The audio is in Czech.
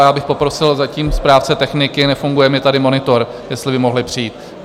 A já bych poprosil zatím správce techniky, nefunguje mi tady monitor, jestli by mohli přijít.